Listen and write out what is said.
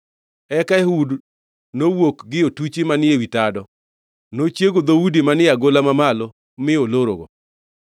Eka Ehud nowuok gie otuchi manie wi tado; nochiego dhoudi manie agola mamalo mi olorogi.